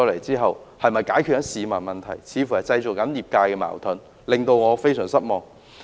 這些方案似乎為業界製造了矛盾，這令我非常失望。